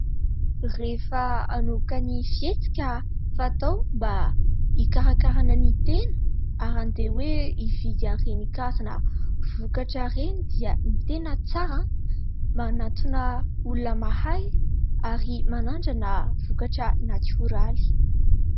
Rehefa hanomboka ny fety ka fatao mba hikarakara ny tena, ary handeha hoe hividy an'ireny karazana vokatra ireny dia ny tena tsara manantona olona mahay ary manandrana vokatra natioraly.